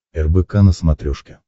рбк на смотрешке